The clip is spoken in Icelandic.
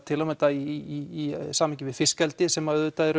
til að mynda í samhengi við fiskeldi sem auðvitað eru